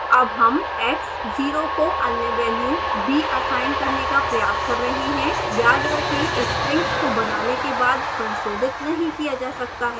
अब हम x0 को अन्य वेल्यू b असाइन करने का प्रयास कर रहे हैं याद रखें strings को बनाने के बाद संशोधित नहीं किया जा सकता है